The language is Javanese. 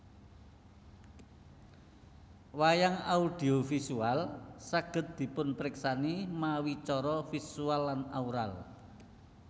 Wayang audio visual saged dipunpriksani mawi cara visual lan aural